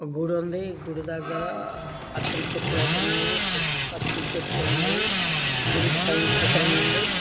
ఒక గుడి ఉంది. గుడి దగ్గర పచ్చని చెట్లు ఒకటున్నాయి. ప్లస్ పచ్చని చెట్లున్నాయి ఉన్నాయి. గుడికి పైన శిఖరం ఉంది